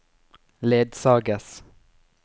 ledsages